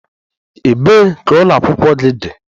Ebee ka ụlọ akwụkwọ gị dị?